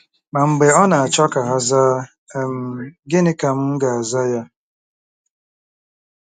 Ma mb͕e ọ nāchọ ka ha zaa, um gini ka m'gāza ya?